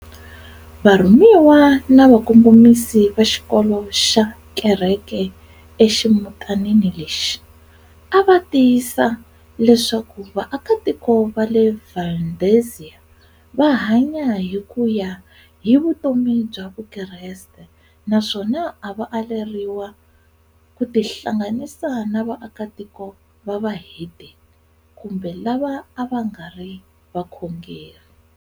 Varhumiwa na vakongomisi va xikolo na Kereke eximutanini lexi, ava tiyisisa leswaku vaaka tiko vale Valdezia vahanya hikuya hi vutomi bya vukreste, naswona ava aleriwa kutihlanganisa na vaaka tiko vavahedeni, Kumbe lava avangari vakhongeri